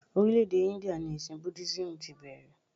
Orílè-èdè India ni ẹ̀sìn Budísímù tí bẹ̀rẹ̀